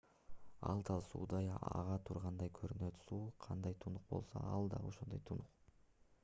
ал дал суудай ага тургандай көрүнөт суу кандай тунук болсо ал дал ошондой тунук